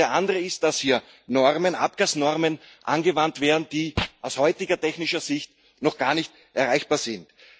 Und der andere ist, dass hier Abgasnormen angewandt werden, die aus heutiger technischer Sicht noch gar nicht erreichbar sind.